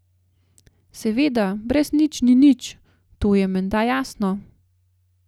Seveda, brez nič ni nič, to je menda jasno.